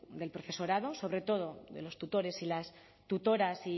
el profesorado sobre todo de los tutores y las tutoras